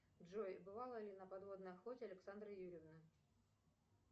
джой бывала ли на подводной охоте александра юрьевна